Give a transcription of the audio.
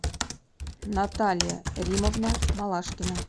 наталья римовна малашкина